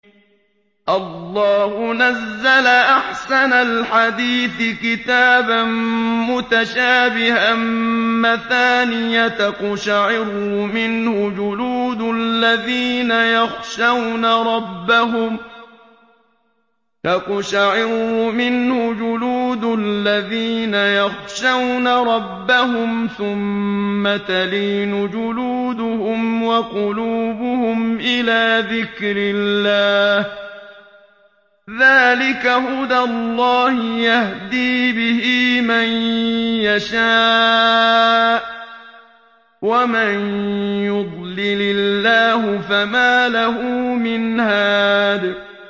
اللَّهُ نَزَّلَ أَحْسَنَ الْحَدِيثِ كِتَابًا مُّتَشَابِهًا مَّثَانِيَ تَقْشَعِرُّ مِنْهُ جُلُودُ الَّذِينَ يَخْشَوْنَ رَبَّهُمْ ثُمَّ تَلِينُ جُلُودُهُمْ وَقُلُوبُهُمْ إِلَىٰ ذِكْرِ اللَّهِ ۚ ذَٰلِكَ هُدَى اللَّهِ يَهْدِي بِهِ مَن يَشَاءُ ۚ وَمَن يُضْلِلِ اللَّهُ فَمَا لَهُ مِنْ هَادٍ